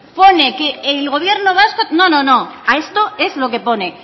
pone que el gobierno vasco no no a esto es lo que pone